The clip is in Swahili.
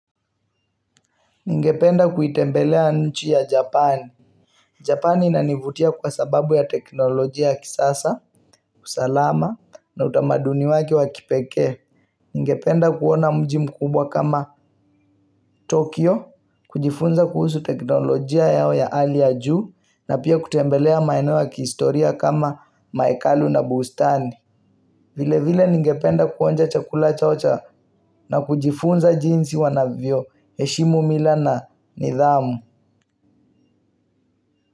Ningependa kuitembelea nchi ya Japani. Japani inanivutia kwa sababu ya teknolojia ya kisasa, usalama, na utamaduni wake wa kipekee. Ningependa kuona mji mkubwa kama Tokyo, kujifunza kuhusu teknolojia yao ya hali ya juu, na pia kutembelea maeneo ya kihistoria kama maekalu na bustani. Vile vile ningependa kuonja chakula chao cha na kujifunza jinsi wanavyoheshimu mila na nidhamu.